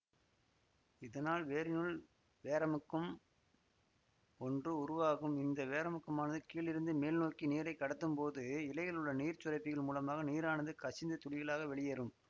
இதனால் வேரினுள் வேரமுக்கம் ஒன்று உருவாகும் இந்த வேரமுக்கமானது கீழிருந்து மேல்நோக்கி நீரைக் கடத்தும்போது இலைகளிலுள்ள நீர்ச் சுரப்பிகள் மூலமாக நீரானது கசிந்து துளிகளாக வெளியேறும்